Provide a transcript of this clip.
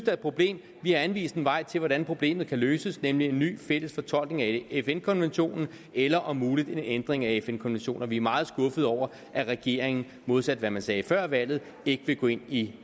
er et problem vi har anvist en vej til hvordan problemet kan løses nemlig med en ny fælles fortolkning af fn konventionen eller om muligt en ændring af fn konventionen vi er meget skuffede over at regeringen modsat hvad man sagde før valget ikke vil gå ind i